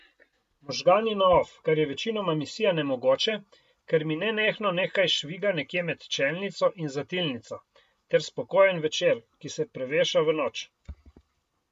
Možgani na off, kar je večinoma misija nemogoče, ker mi nenehno nekaj šviga nekje med čelnico in zatilnico, ter spokojen večer, ki se preveša v noč.